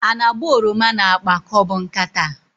A na-agba oroma n'akpa ka ọ bụ nkata?